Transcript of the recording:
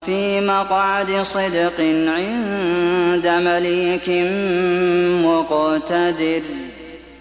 فِي مَقْعَدِ صِدْقٍ عِندَ مَلِيكٍ مُّقْتَدِرٍ